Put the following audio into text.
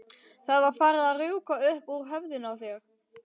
Það var farið að rjúka upp úr höfðinu á þér.